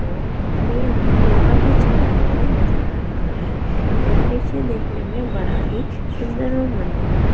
और हमें यहाँ कुहा भी छाया हुआ नजर आ रहा है यह दृश्य देखने में बड़ा ही सुन्दर और मन मोहक है।